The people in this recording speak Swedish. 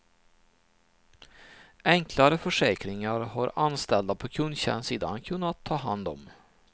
Enklare försäkringar har anställda på kundtjänstsidan kunnat ta hand om.